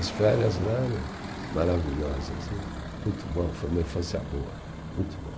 As férias lá eram maravilhosas né, muito bom, foi uma infância boa, muito bom.